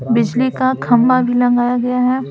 बिजली का खंबा भी लगाया गया है।